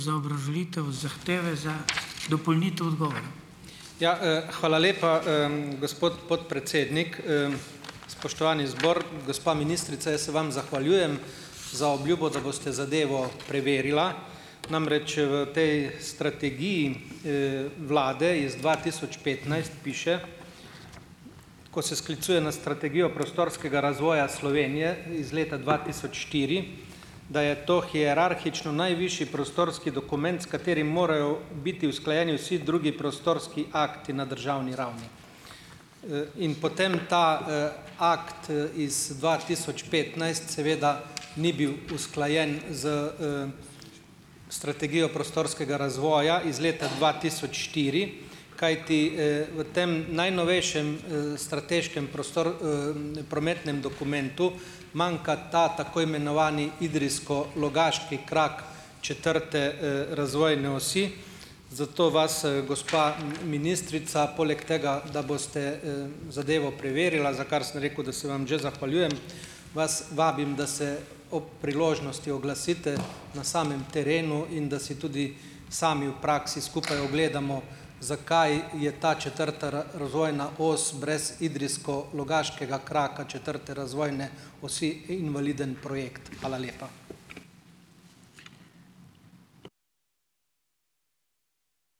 Ja, hvala lepa, gospod podpredsednik, spoštovani zbor. Gospa ministrica, jaz se vam zahvaljujem za obljubo, da boste zadevo preverila, namreč v tej strategiji vlade iz dva tisoč petnajst piše, ko se sklicuje na strategijo prostorskega razvoja Slovenije iz leta dva tisoč štiri, da je to hierarhično najvišji prostorski dokument, s katerim morajo biti usklajeni vsi drugi prostorski akti na državni ravni. In potem ta akt iz dva tisoč petnajst seveda ni bil usklajen s strategijo prostorskega razvoja iz leta dva tisoč štiri, kajti v tem najnovejšem strateškem prometnem dokumentu manjka ta, tako imenovani idrijsko-logaški krak četrte razvoje osi, zato vas, gospa ministrica poleg tega, da boste zadevo preverila, za kar sem rekel, da se vam že zahvaljujem, vas vabim, da se ob priložnosti oglasite na samem terenu in da si tudi sami v praksi skupaj ogledamo, zakaj je ta četrta razvojna os brez idrijsko-logaškega kraka četrte razvojne osi invaliden projekt. Hvala lepa.